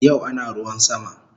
Yau ana ruwan sama